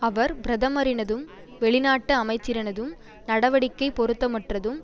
அவர் பிரதமரினதும் வெளிநாட்டு அமைச்சரினதும் நடவடிக்கை பொருத்தமற்றதும்